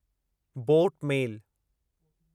boat मेल